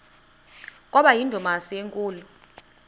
kwaba yindumasi enkulu